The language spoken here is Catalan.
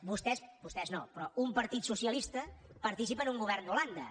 vostès vostès no però un partit socialista participa en un govern d’holanda